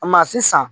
sisan